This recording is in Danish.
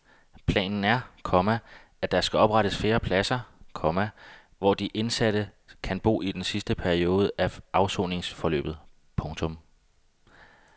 Planen er, komma at der skal oprettes flere pladser, komma hvor de indsatte kan bo i den sidste periode af afsoningsforløbet. punktum